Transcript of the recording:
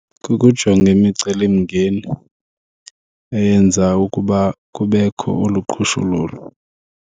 Kukujonga imicelimngeni eyenza ukuba kubekho olu qhushululu.